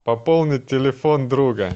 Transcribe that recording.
пополнить телефон друга